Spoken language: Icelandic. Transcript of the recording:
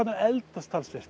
að eldast talsvert